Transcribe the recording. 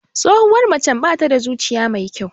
Tsohuwar macen bata da zuciya mai kyau.